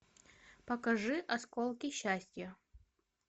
покажи осколки счастья